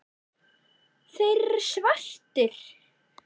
Þeir eru svartir.